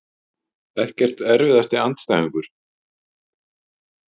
Ekkert Erfiðasti andstæðingur?